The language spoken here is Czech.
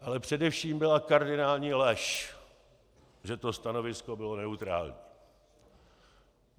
Ale především byla kardinální lež, že to stanovisko bylo neutrální.